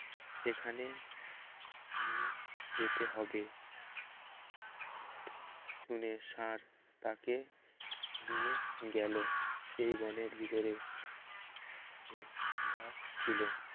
সেখানে নিয়ে যেতে হবে শুনে ষাঁড় তাকে নিয়ে গেল সেই বনের ভিতর সে ঘাস ছিল